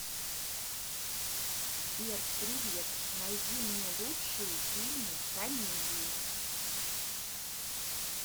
сбер привет найди мне лучшие фильмы комедии